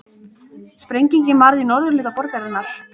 Sprengingin varð í norðurhluta borgarinnar